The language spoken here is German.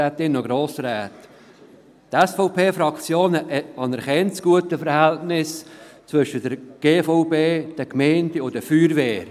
Die SVP-Fraktion anerkennt das gute Verhältnis zwischen der GVB, den Gemeinden und der Feuerwehr.